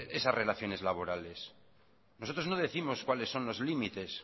esas relaciones laborales nosotros no décimos cuáles son los límites